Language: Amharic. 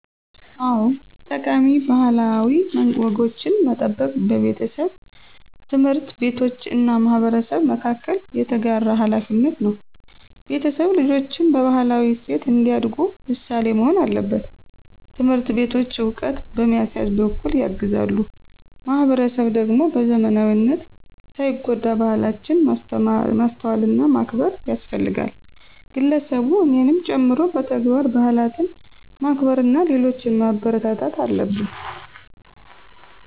አዎ፣ ጠቃሚ ባህላዊ ወጎችን መጠበቅ በቤተሰብ፣ ትምህርት ቤቶች እና ማህበረሰብ መካከል የተጋራ ሀላፊነት ነው። ቤተሰብ ልጆችን በባህላዊ እሴት እንዲያዳጉ ምሳሌ መሆን አለበት። ትምህርት ቤቶች ዕውቀት በማሲያዝ በኩል ያግዛሉ። ማህበረሰብ ደግሞ በዘመናዊነት ሳይጎዳ ባህላችንን ማስተዋልና ማክበር ያስፈልጋል። ግለሰቡ እኔንም ጨምሮ በተግባር ባህላትን ማክበርና ሌሎችን ማበረታታት አለብን።